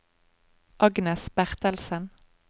Agnes Bertelsen